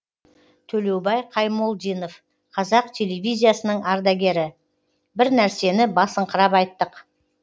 төлеубай қаймолдинов қазақ телевизиясының ардагері бір нәрсені басыңқырап айттық